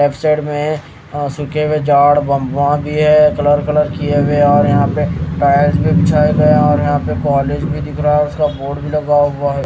में अह सूखे हुए झाड़ बंबा भी है कलर कलर किए हुए और यहां पे टाइल्स भी बिछाए गए और यहां पे कॉलेज भी दिख रहा है और उसका बोर्ड भी लगा हुआ है।